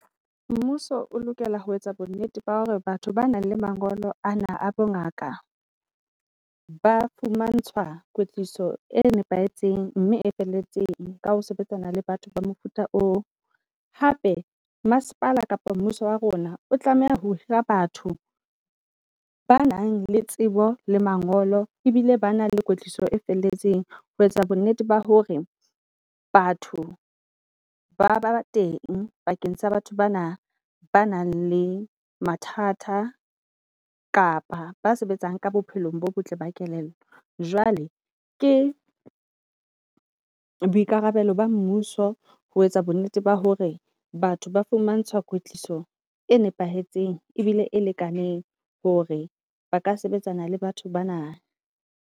Mmuso o lokela ho etsa bo nnete ba hore batho ba nang le mangolo ana a bo ngaka ba fumantshwa kwetliso e nepahetseng mme e felletseng ka ho sebetsana le batho ba mofuta oo. Hape masepala kapa mmuso wa rona o tlameha ho hira batho ba nang le tsebo le mangolo ebile ba nang le kwetliso e felletseng ho etsa bo nnete ba hore batho ba ba teng bakeng sa batho bana, ba nang le mathata kapa ba sebetsang ka bophelong bo botle ba kelello. Jwale ke boikarabelo ba mmuso ho etsa bo nnete ba hore batho ba fumantshwa kwetliso e nepahetseng ebile e lekaneng hore ba ka sebetsana le batho ba na.